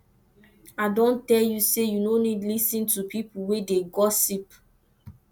i don tell you sey you no need to lis ten to pipo wey dey gossip